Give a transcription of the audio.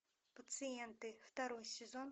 пациенты второй сезон